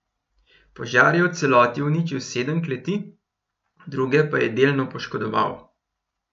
Požar je v celoti uničil sedem kleti, druge pa je delno poškodoval.